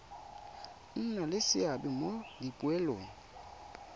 nna le seabe mo dipoelong